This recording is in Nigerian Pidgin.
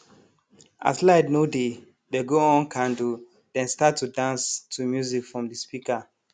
as light no dey dey go on candle den start to dance to music from de speaker